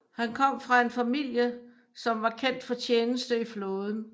Han kom fra en familie som var kendt for tjeneste i flåden